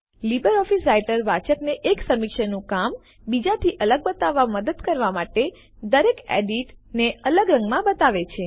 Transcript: LibreOffice Writer વાચકને એક સમીક્ષકનું કામ બીજા થી અલગ બતાવવામાં મદદ કરવા માટે દરેક એડિટ ને અલગ રંગમાં બતાવે છે